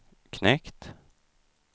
knekt